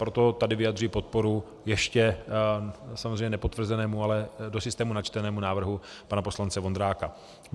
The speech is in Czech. Proto tady vyjadřuji podporu ještě samozřejmě nepotvrzenému, ale do systému načtenému návrhu pana poslance Vondráka.